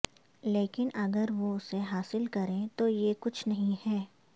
لیکن اگر وہ اسے حاصل کریں تو یہ کچھ نہیں ہے